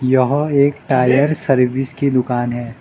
यहां एक tyre service की दुकान है।